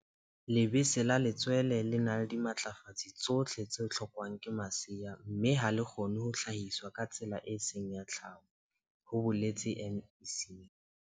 Lebese la letswele le na le dimatlafatsi tsohle tse hlo kwang ke masea mme ha le kgone ho hlahiswa ka tsela e seng ya tlhaho, ho boletse MEC.